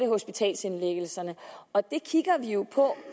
hospitalsindlæggelserne og det kigger vi jo på